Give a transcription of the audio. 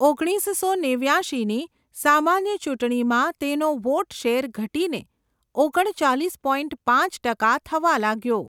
ઓગણીસસો નેવ્યાશીની સામાન્ય ચૂંટણીમાં તેનો વોટ શેર ઘટીને ઓગણચાલીસ પોઇન્ટ પાંચ ટકા થવા લાગ્યો.